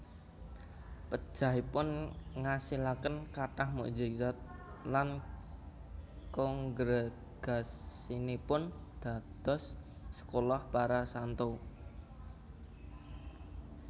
Pejahipun ngasilaken kathah mukjizat lan kongregasinipun dados sekolah para santo